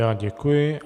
Já děkuji.